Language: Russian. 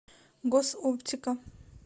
госоптика